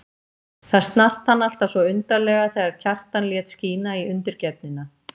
Það snart hann alltaf svo undarlega þegar Kjartan lét skína í undirgefnina.